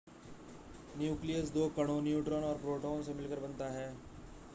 nucleus दो कणों neutron और प्रोटॉन से मिलकर बनता है